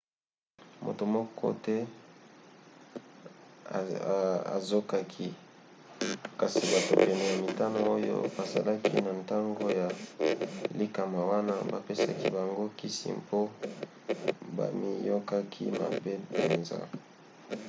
moto moko te azokaki kasi bato pene ya mitano oyo bazalaki na ntango ya likama wana bapesaki bango kisi mpo bamiyokaki mabe mpenza